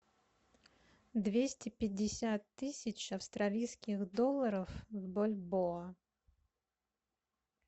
двести пятьдесят тысяч австралийских долларов в бальбоа